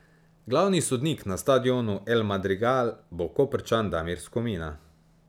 Glavni sodnik na stadionu El Madrigal bo Koprčan Damir Skomina.